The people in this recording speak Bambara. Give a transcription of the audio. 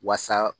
Wasa